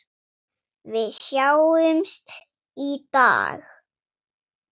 Við sjáumst í dag.